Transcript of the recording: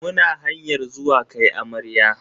Muna hanyar zuwa kai amarya.